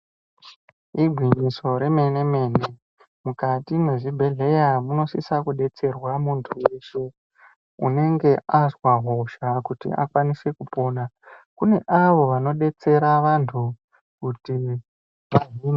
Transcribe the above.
Igwinyiso remene mene mukati mezvibhedhlera munosisa kudetserwa muntu weshe unenge azwa hosha kuti akwanise kupona kune avo vanodetsera vantu kuti vahinike.